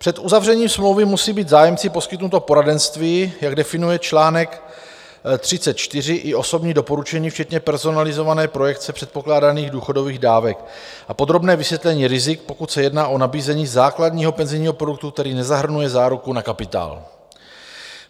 Před uzavřením smlouvy musí být zájemci poskytnuto poradenství, jak definuje článek 34, i osobní doporučení včetně personalizované projekce předpokládaných důchodových dávek a podrobné vysvětlení rizik, pokud se jedná o nabízení základního penzijního produktu, který nezahrnuje záruku na kapitál.